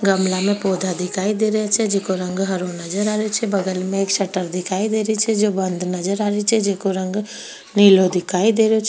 गमला मे पौधा दिखाई दे रिया छे जिको रंग हरो नजर आ रियो छे बगल मे एक शटर दिखाई दे रहियो छेजो बंद नजर आ रही छे जिको रंग निलो दिखाई दे रहियो छे।